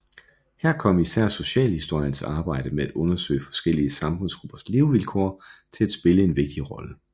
Her kom især socialhistoriens arbejde med at undersøge forskellige samfundsgruppers levevilkår til at spille en vigtig rolle